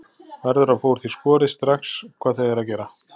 Verður að fá úr því skorið strax hvað þau eru að gera.